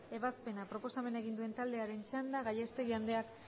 ebazpena proposamen egin duen taldearen txanda gallastegui andreak